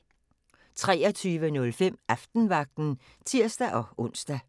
23:05: Aftenvagten (tir-ons)